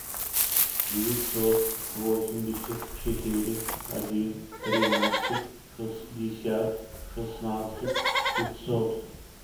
девятьсот восемьдесят четыре один тринадцать шестьдесят шестнадцать пятьсот